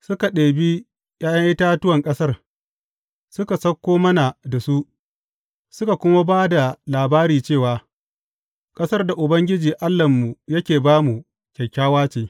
Suka ɗebi ’ya’yan itatuwan ƙasar, suka sauko mana da su, suka kuma ba da labari cewa, Ƙasar da Ubangiji Allahnmu yake ba mu, kyakkyawa ce.